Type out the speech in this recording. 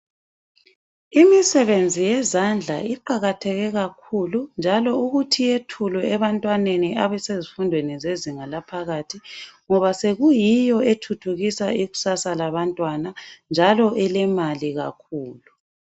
Imisebenzi yezandla iqakatheke kakhulu njalo ukuthi yethulwe ebantwaneni abesezifundweni zezinga laphakathi ngoba sekuyiyo ethuthukisa ikusasa labantwana njalo elemali kakhulu.